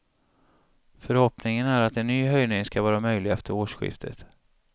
Förhoppningen är att en ny höjning ska vara möjlig efter årsskiftet.